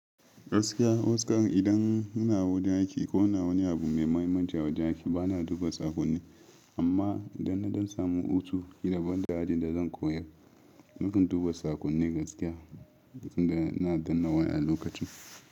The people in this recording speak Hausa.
Gaskiya, matuƙan idan muna wajen aiki ko muna wani abu mai mahimmanci a wajen aiki bana duba saƙonni. Amma idan na ɗan samu hutu ƙila banda ajin da zan koyar, nakan duba saƙonni gaskiya indai ina danna waya a lokacin.